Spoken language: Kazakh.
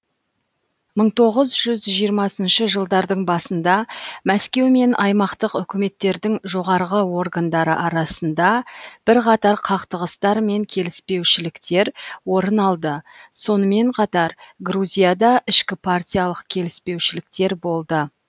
мың тоғыз жүз жиырмасыншы жылдардың басында мәскеу мен аймақтық үкіметтердің жоғарғы органдары арасында бірқатар қақтығыстар мен келіспеушіліктер орын алды сонымен қатар грузияда ішкіпартиялық келіспеушіліктер болды